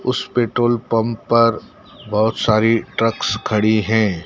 उस petrol pump पर बहोत सारी ट्रक्स खड़ी है।